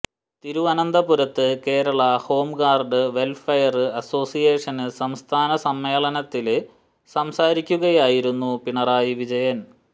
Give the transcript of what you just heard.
തിരുവനന്തപുരത്ത് Kerala home guard welfare association സംസ്ഥാന സമ്മേളനത്തില് സംസാരിക്കുകയായിരുന്നു പിണറായി വിജയന്